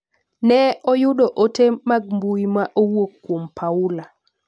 Ne oyudo ote mag mbui ma owuok kuom Paula.